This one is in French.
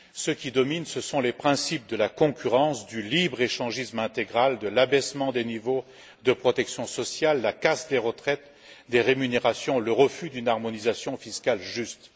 Ce qui domine, ce sont les principes de la concurrence, du libre échangisme intégral, de l'abaissement des niveaux de protection sociale, la casse des retraites, des rémunérations, le refus d'une harmonisation fiscale juste.